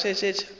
rile ge a šetše a